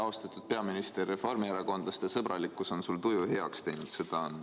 Austatud peaminister, reformierakondlaste sõbralikkus on sul tuju heaks teinud.